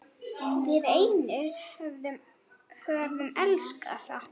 Við einir höfum elskað það.